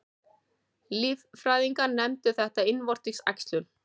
Líffræðingar nefna þetta innvortis æxlun.